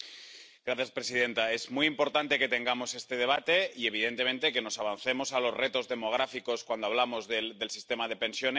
Señora presidenta, es muy importante que tengamos este debate y, evidentemente, que nos avancemos a los retos demográficos cuando hablamos del sistema de pensiones.